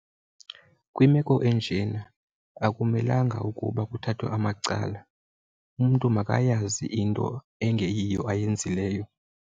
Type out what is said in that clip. Kwimeko enjena akumelanga ukuba kuthathwe amacala. Umntu makayazi into engeyiyo ayenzileyo.